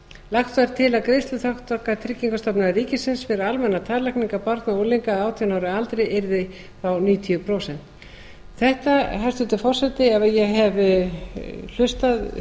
lagt var til að greiðsluþátttaka tryggingastofnun ríkisins fyrir almennar tannlækningar barna og unglinga að átján ára aldri yrði níutíu prósent þetta hæstvirtur forseti ef ég hef hlustað